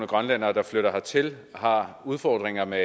grønlændere der flytter hertil har udfordringer med